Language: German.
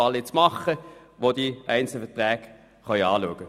Das tut nun die FiKo in einem Fall.